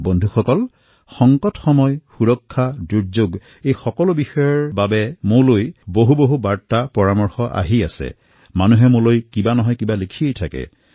বন্ধুসকল বিপদৰ সময়ত সুৰক্ষা দুৰ্যোগ আদি বিষয় সন্দৰ্ভত মোলৈ বহু বাৰ্তা আহে জনসাধাৰণে কিবা নহয় কিবা লিখিয়েই থাকে